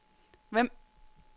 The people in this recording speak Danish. Vemb